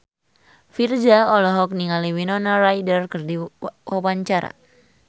Virzha olohok ningali Winona Ryder keur diwawancara